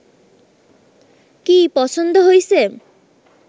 কী, পছন্দ হইছে